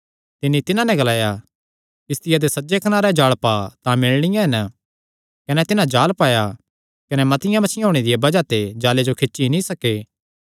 तिन्नी तिन्हां नैं ग्लाया किस्तिया दे सज्जे कनारे जाल़ पा तां मिलणियां हन कने तिन्हां जाल़ पाया कने मतिआं मच्छियां होणे दिया बज़ाह ते जाल़े जो खींजी नीं सके